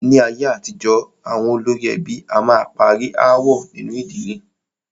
Ní ayé àtijọ́, àwọn olórí ẹbí a máa parí aáwọ̀ nínu ìdílé.